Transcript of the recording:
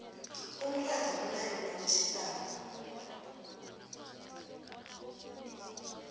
umratha umnandi nawutjhisako